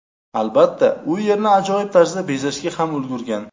Albatta, u yerni ajoyib tarzda bezashga ham ulgurgan.